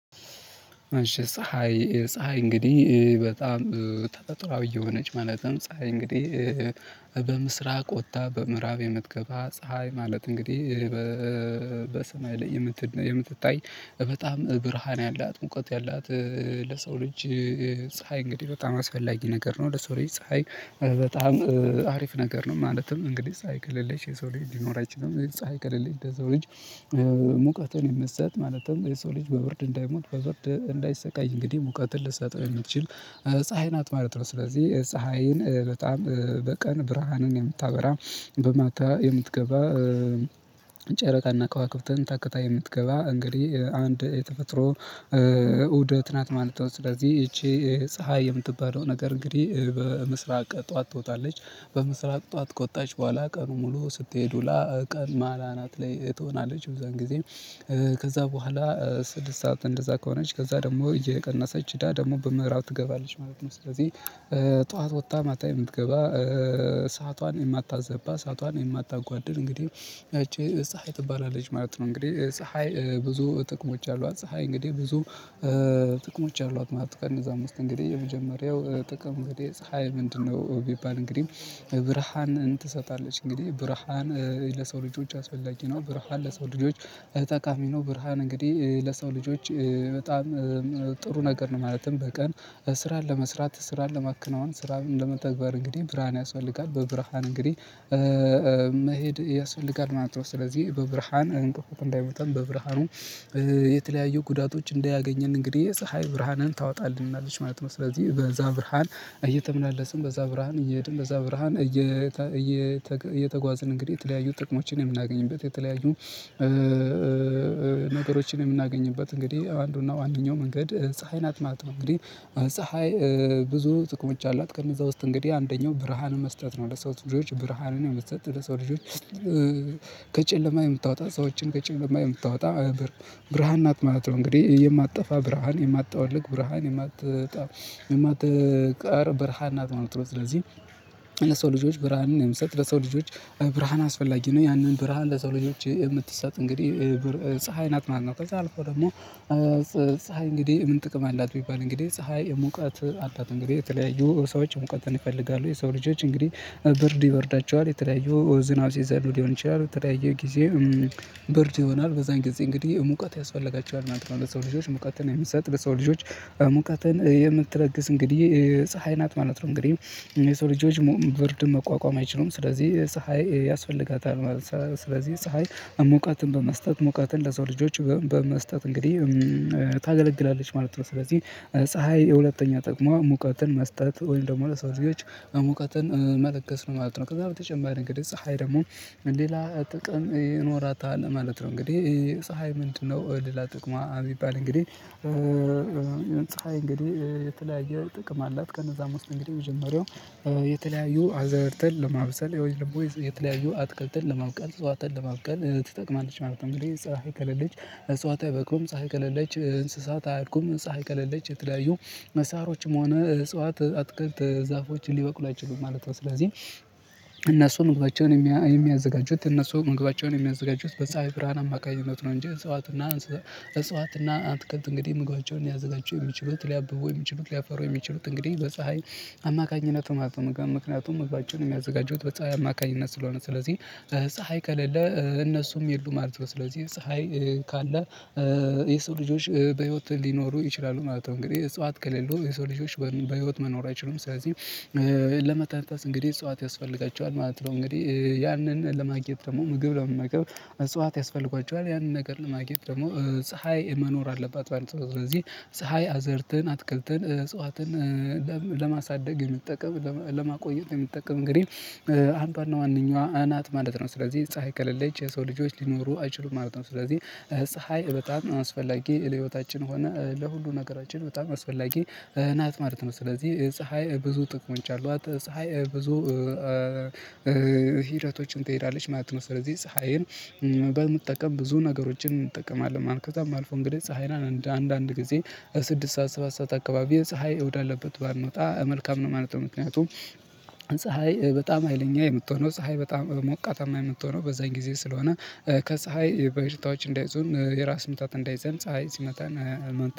አንሺ ፀሀይ ፀሀይ እንግዲህ በጣም ተፈጥሮአዊ የሆነች ማለትም ፀሀይ እንግዲህ በምስራቅ ወጥታ በምዕራብ የምትገባ ፀሀይ ማለት እንግዲህ በሰማይ ላይ የምትታይ በጣም ብርሃን ያላት ሙቀት ያላት ለሰው ልጅ ፀሀይ እንግዲህ በጣም አስፈላጊ ነገር ነው። ለሰው ልጅ ፀሀይ በጣም አሪፍ ነገር ነው። ማለትም እንግዲህ ፀሀይ ከሌለሽ የሰው ልጅ ሊኖር አይችልም። ፀሀይ ከለለች የሰው ልጅ ሙቀትን የምሰጥ ማለትም የሰው ልጅ በብርድ እንዳይሞት በብርድ እንዳይሰቃይ እንግዲህ ሙቀትን ልትሰጠው የምትችል ፀሀይ ናት ማለት ነው። ስለዚህ ፀሀይን በጣም በቀን ብርሃንን የምታበራ በማታ የምትገባ ጨረቃና ከዋክብትን ታክታ የምትገባ እንግዲህ አንድ የተፈጥሮ እውደት ናት ማለት ነው። ስለዚህ ይቺ ፀሀይ የምትባለው ነገር እንግዲህ በምስራቅ ጠዋት ትወጣለች በምስራቅ ጠዋት ከወጣች በኋላ ቀኑን ሙሉ ስትሄድ ውላ ቀን ማላ ናት ላይ ትሆናለች። በዛን ጊዜ ከዛ በኋላ ስድስት ሰዓት እንደዛ ከሆነች ከዛ ደግሞ እየቀነሰች እዳ ደግሞ በምዕራብ ትገባለች ማለት ነው። ስለዚህ ጠዋት ወታ ማታ የምትገባ ሰአቷን የማታዘባ ሰአቷን የማታጓድል እንግዲህ እቺ ፀሀይ ትባላለች ማለት ነው። እንግዲህ ፀሀይ ብዙ ጥቅሞች አሏት። ፀሀይ እንግዲህ ብዙ ጥቅሞች አሏት ማለት ነው። ከነዛም ውስጥ እእንግዲህ የመጀመሪያው ጥቅም እንግዲህ ፀሀይ ምንድነው? ቢባል እንግዲህ ብርሃንን ትሰጣለች እንግዲህ ብርሃን ለሰው ልጆች አስፈላጊ ነው ብርሃን ለሰው ልጆች እጠቃሚ ነው። ብርሃን እንግዲህ ለሰው ልጆች በጣም ጥሩ ነገር ነው። ማለትም በቀን ስራን ለመስራት ስራን ለማከናወን ስራን ለመተግበር እንግዲህ ብርሃን ያስፈልጋል በብርሃን እንግዲህ መሄድ ያስፈልጋል ማለት ነው። ስለዚህ በብርሃን እንቅፋት እንዳይመታን በብርሃኑ የተለያዩ ጉዳቶች እንዳያገኘን እንግዲህ የፀሀይ ብርሃንን ታወጣልናለች ማለት ነው። ስለዚህ በዛ ብርሃን እየተመላለስን በዛ ብርሃን እየሄድን በዛ ብርሃን እየተጓዝን እንግዲህ የተለያዩ ጥቅሞችን የምናገኝበት የተለያዩ ነገሮችን የምናገኝበት እንግዲህ አንዱና ዋነኛው መንገድ ፀሀይን ናት ማለት ነው። እንግዲህ ፀሀይ ብዙ ትቅሞች አላት ከነዛ ውስጥ እንግዲህ አንደኛው ብርሃን መስጠት ነው። ለሰው ልጆች ብርሃንን መስጠት ለሰው ልጆች ከጨለማ የምታወጣ ሰዎችን ከጨለማ የምታወጣ ብርሃን ናት ማለት ነው። እንግዲህ የማጠፋ ብርሃን የማጠወልግ ብርሃን የማትቀር ብርሃን ናት ማለት ነው። ስለዚህ ለሰው ልጆች ብርሃንን የምሰጥ ለሰው ልጆች ብርሃን አስፈላጊ ነው። ያንን ብርሃን ለሰውልጆች ምትሰጥ እንግዲህ ፀሀይ ናት። ማነው ከዛ አልፎ ደግሞ ፀሀይ እንግዲህ ምን? ጥቅም አላት ቢባል እንግዲህ ፀሀይ ሙቀት አላት እንግዲህ የተለያዩ ሰዎች ሙቀትን ይፈልጋሉ የሰው ልጆች እንግዲህ ብርድ ይበርዳቸዋል የተለያዩ ዝናብ ሲዘንብ ሊሆን ይችላል የተለያየ ጊዜ በርድ ይሆናል በዛን ጊዜ እንግዲህ ሙቀት ያስፈልጋቸዋል ማለት ነው። ለሰው ልጆች ሙቀትን የሚሰጥ ለሰው ልጆች ሙቀትን የምትለግስ እንግዲህ ፀሀይ ናት ማለት ነው። እንግዲህ የሰው ልጆች ብርድ መቋቋም አይችሉም ስለዚህ ፀሀይ ያስፈልጋታል ማለት ነው። ስለዚህ ፀሀይ እሙቀትን በመስጠት ሙቀትን ለዛው ልጆች በመስጠት እንግዲህ ታገለግላለች ማለት ነው። ስለዚህ ፀሀይ ሁለተኛ ጥቅሟ ሙቀትን መስጠት ወይም ደግሞ ለሰው እዚህ ሙቀትን መለገስ ነው ማለት ነው። ከዛ በተጨማሪ እንግዲህ ፀሀይ ደግሞ ሌላ ጥቅም ይኖራታል ማለት ነው። እንግዲህ ፀሀይ ምንድነው? ሌላ ጥቅማ ቢባል እንግዲህ ፀሀይ እንግዲህ የተለያየ ጥቅም አላት ከነዛም ውስጥ እንግዲህ የመጀመሪያው የተለያዩ አዝህርትን ለማብሰል ወይም ደሞ የተለያዩ አትክልት ለማብቀል እፅዋትን ለማብቀል ትጠቅማለች ማለት ነው። እንግዲህ ፀሀይ ከለለች እፅዋት አይበቅሉም ጸሐፊ ከሌለች እንስሳት አያድጉም ፀሀይ ከሌለች የተለያዩ መሳሮችም ሆነ እጽዋት አትክልት ዛፎች ሊበቅሉ አይችሉም ማለት ነው። ስለዚህ እነሱ መግባታቸውን የሚያዘጋጁት እነሱ መግባታቸውን ሚያዘጋጁት በፀሀይ ብርሃን አማካኝነት ነው። እንጂ እፅዋት ና አትክልት እንግዲህ ምግባቸውን ሊያዘጋጁ የሚችሉት ሊያብቡ የሚችሉት ሊያፈሩ የሚችሉት እንግዲህ በፀሀይ አማካኝነት ነው ማለት ነው። ምክንያቱም መግባቸውን የሚያዘጋጁት በፀሀይ አማካኝነት ስለሆነ ስለዚህ ፀሀይ ከሌለ እነሱም የሉም ማለት ነው። ስለዚህ ፀሀይ ካለ የሰው ልጆች በህይወትህ ሊኖሩ ይችላሉ ማለት ነው። እንግዲህ እጽዋት ከሌሉ የሰው ልጆች በህይወት መኖር አይችሉም። ስለዚህ ለመተንፈስ እንግዲህ እጽዋት ያስፈልጋቸዋል ማለት ነው። እንግዲህ ያንን ለማግኘት ደግሞ ምግብ ለመናገር እጽዋት ያስፈልጓቸዋል ያንን ነገር ለማግኘት ደግሞ ፀሀይ መኖር አለባት ማለት ነው። ስለዚህ ፀሀይ አዝርትን አትክልትን እጽዋትን ለማሳደግ የምትጠቀም ለማቆየት የሚጠቀም እንግዲህ አንዷና ዋነኛዋ አ ናት ማለት ነው። ስለዚህ ፀሀይ ከሌለች የሰው ልጆች ሊኖሩ አይችሉም ማለት ነው። ስለዚህ ፀሀይ በጣም አስፈላጊ ለህይወታችን ሆነ ለሁሉ ነገራችን በጣም አስፈላጊ ናት ማለት ነው። ስለዚህ ፀሀይ ብዙ ጥቅሞች አሏት ፀሀይ ብዙ ሂደቶችን ትሄዳለች ማለት ነው። ስለዚህ ፀሀይን በምጠቀም ብዙ ነገሮችን እንጠቀማለን። ማለት ከዛም ባልፎ እንግዲህ ፀሀይን አንድ አንድ ጊዜ ስድስት ሰዓት ሰባት ሰዓት አካባቢ ፀሀይ ወዳለበት ባንወጣ መልካም ነው ማለት ነው። ምክንያቱም ፀሀይ በጣም ሀይለኛ የምትሆነው ፀሀይ በጣም ሞቃታማ የምትሆነው በዛን ጊዜ ስለሆነ ከፀሀይ በሽታዎች እንዳይዙን የራስ ምታት እንዳይዘን ፀሀይ ሲመታን።